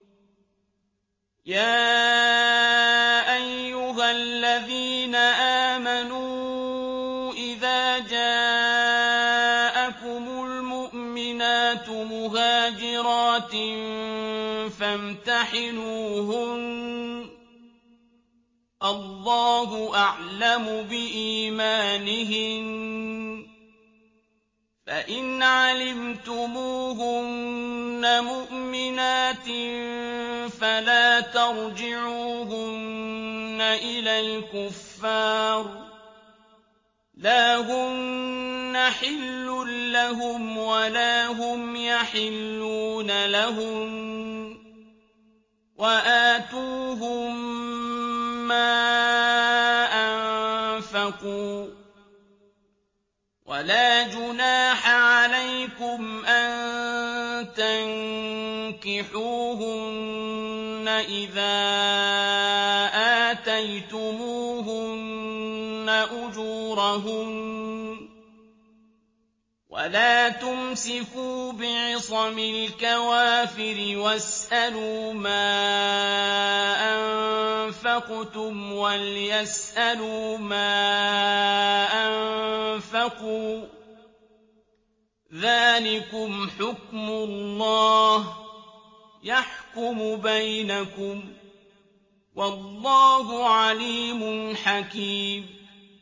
يَا أَيُّهَا الَّذِينَ آمَنُوا إِذَا جَاءَكُمُ الْمُؤْمِنَاتُ مُهَاجِرَاتٍ فَامْتَحِنُوهُنَّ ۖ اللَّهُ أَعْلَمُ بِإِيمَانِهِنَّ ۖ فَإِنْ عَلِمْتُمُوهُنَّ مُؤْمِنَاتٍ فَلَا تَرْجِعُوهُنَّ إِلَى الْكُفَّارِ ۖ لَا هُنَّ حِلٌّ لَّهُمْ وَلَا هُمْ يَحِلُّونَ لَهُنَّ ۖ وَآتُوهُم مَّا أَنفَقُوا ۚ وَلَا جُنَاحَ عَلَيْكُمْ أَن تَنكِحُوهُنَّ إِذَا آتَيْتُمُوهُنَّ أُجُورَهُنَّ ۚ وَلَا تُمْسِكُوا بِعِصَمِ الْكَوَافِرِ وَاسْأَلُوا مَا أَنفَقْتُمْ وَلْيَسْأَلُوا مَا أَنفَقُوا ۚ ذَٰلِكُمْ حُكْمُ اللَّهِ ۖ يَحْكُمُ بَيْنَكُمْ ۚ وَاللَّهُ عَلِيمٌ حَكِيمٌ